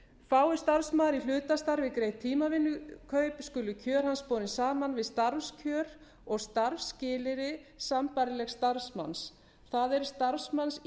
fái starfsmaður í hlutastarfi greitt tímavinnukaup skulu kjör hans borin saman við starfskjör og starfsskilyrði sambærilegs starfsmanns það er starfsmanns í